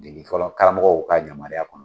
Degeli fɔlɔ karamɔgɔw ka yamaruya kɔnɔ.